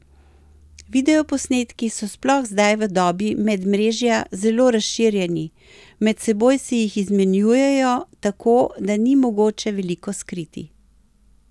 Videoposnetki so sploh zdaj v dobi medmrežja zelo razširjeni, med seboj si jih izmenjujejo, tako da ni mogoče veliko skriti.